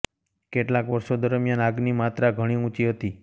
કેટલાક વર્ષો દરમિયાન આગની માત્રા ઘણી ઊંચી હતી